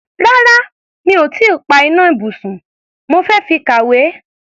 Rárá, mi ò tí ì pa iná ibùsùn, mo fi ń kàwé.